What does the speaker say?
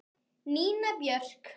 Nína Björk.